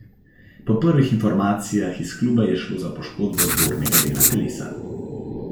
Po prvih informacijah iz kluba je šlo za poškodbo zgornjega dela telesa.